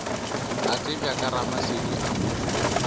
a tsebja ke ramasedi a